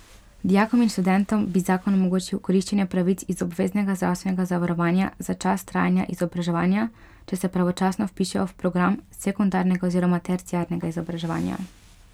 Dijakom in študentom bi zakon omogočil koriščenje pravic iz obveznega zdravstvenega zavarovanja za čas trajanja izobraževanja, če se pravočasno vpišejo v program sekundarnega oziroma terciarnega izobraževanja.